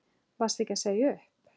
Varstu ekki að segja upp?